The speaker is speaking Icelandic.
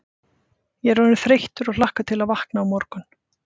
Ég er orðinn þreyttur og hlakka til að vakna á morgun.